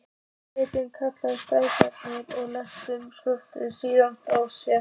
Svenni kallar skál og leggur staupið síðan frá sér.